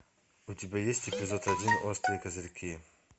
у тебя есть эпизод один острые козырьки